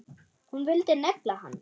Hún vildi negla hann!